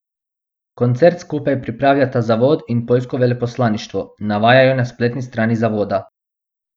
Koncert skupaj pripravljata zavod in poljsko veleposlaništvo, navajajo na spletni strani zavoda.